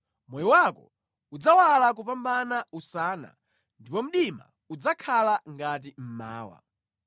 Moyo wako udzawala kupambana usana, ndipo mdima udzakhala ngati mmawa.